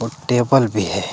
और टेबल भी है।